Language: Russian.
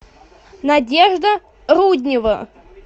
надежда руднева